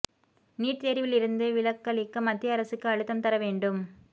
NEET தேர்வில் இருந்து விலக்களிக்க மத்திய அரசுக்கு அழுத்தம் தர வேண்டும்